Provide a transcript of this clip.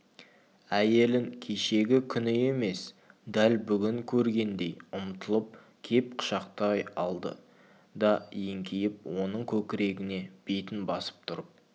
әйелін кешегі күні емес дәл бүгін көргендей ұмтылып кеп құшақтай алды да еңкейіп оның көкірегіне бетін басып тұрып